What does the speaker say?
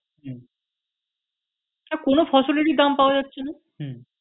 হম হ্যাঁ কোন ফসলেরই দাম পাওয়া যাচ্ছে না হম